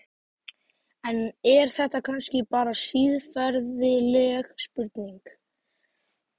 En er þetta kannski bara siðferðileg spurning?